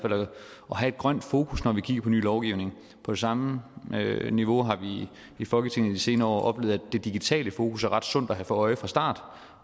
have et grønt fokus når vi kigger på ny lovgivning på samme niveau har vi i folketinget i de senere år oplevet at det digitale fokus er ret sundt at have for øje fra start